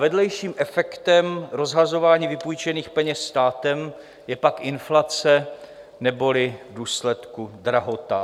Vedlejším efektem rozhazování vypůjčených peněz státem je pak inflace neboli v důsledku drahota.